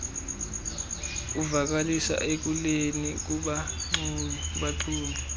uvakalise ekuleni kubaxumi